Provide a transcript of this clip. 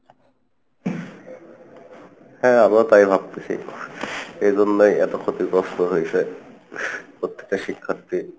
হ্যাঁ আমিও তাই ভাবতেছি, এইজন্যই এত ক্ষতিগ্রস্থ হইসে প্রত্যেকটা শিক্ষার্থী।